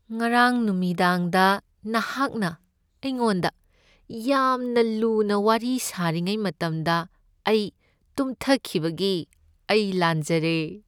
ꯉꯔꯥꯡ ꯅꯨꯃꯤꯗꯥꯡꯗ ꯅꯍꯥꯛꯅ ꯑꯩꯉꯣꯟꯗ ꯌꯥꯝꯅ ꯂꯨꯅ ꯋꯥꯔꯤ ꯁꯥꯔꯤꯉꯩ ꯃꯇꯝꯗ ꯑꯩ ꯇꯨꯝꯊꯈꯤꯕꯒꯤ ꯑꯩ ꯂꯥꯟꯖꯔꯦ꯫